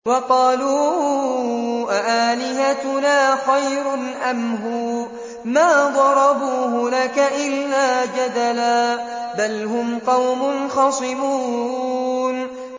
وَقَالُوا أَآلِهَتُنَا خَيْرٌ أَمْ هُوَ ۚ مَا ضَرَبُوهُ لَكَ إِلَّا جَدَلًا ۚ بَلْ هُمْ قَوْمٌ خَصِمُونَ